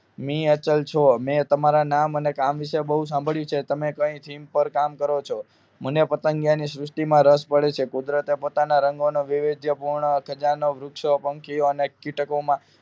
મી અચલ છો મે તમારા નામ અને કામ વિષે બહુ સાંભળ્યું છે તમે કઈ theme પર કામ કરો છો મને પતંગિયાની સૃષ્ટિમાં રસ પડ્યો છે કુદરતે પોતાનો રંગ નો વિવિધી પૂર્ણ ખજાનો વૃક્ષો પંખીયઓ અને કીટકો માં